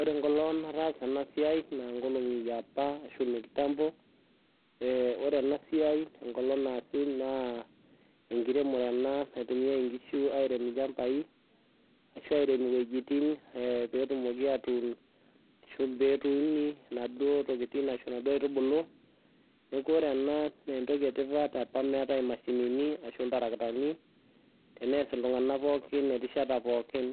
Ore enkolong nataasa ena siai naa nkolong'i iopa, ashu inekitambo. Ore ena siai enkolong naasi naa enkiremore ena naitumiai inkishu airem ilchambai ashu airem iwuejitin peetumoki aatuun ashu peeuni inaduo tokiting ashu inaduo kaitubulu. Neeku ore ena naa entoki etipat apa meetae imashinini ashu ilderekitani, tenees iltung'anak pookin erishata pookin